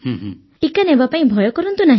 ଟିକା ନେବାପାଇଁ ଭୟ କରନ୍ତୁ ନାହିଁ